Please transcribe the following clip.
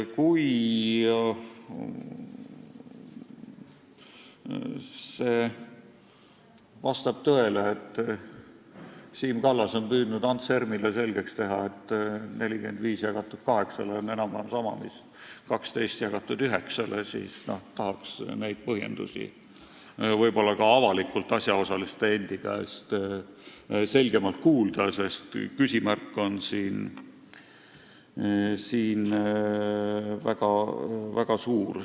Kui vastab tõele, et Siim Kallas on püüdnud Ants Ermile selgeks teha, et 45 jagatud 8-ga on enam-vähem sama mis 12 jagatud 9-ga, siis tahaks neid põhjendusi ka avalikult asjaosaliste endi käest selgemalt kuulda, sest küsimärk on siin väga suur.